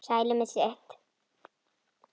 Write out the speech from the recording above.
Sælir með sitt.